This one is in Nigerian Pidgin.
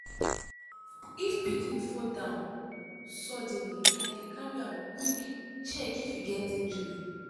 if pikin fall down suddenly i dey carry am quick check if e get injury.